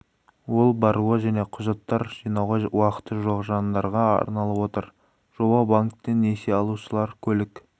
ол баруға және құжаттар жинауға уақыты жоқ жандарға арналып отыр жоба банктен несие алушылар көлік